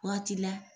Waati la